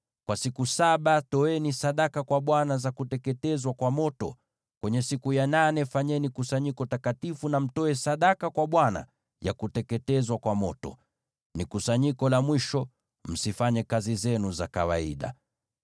Kwa siku saba toeni sadaka kwa Bwana za kuteketezwa kwa moto. Kwenye siku ya nane fanyeni kusanyiko takatifu, na mtoe sadaka kwa Bwana ya kuteketezwa kwa moto. Ni kusanyiko la mwisho, msifanye kazi zenu za kawaida.